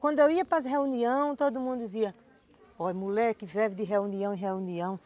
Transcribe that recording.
Quando eu ia para as reuniões, todo mundo dizia, ó, mulher que vive de reunião em reunião,